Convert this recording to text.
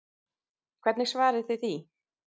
Hvernig svarið þið því?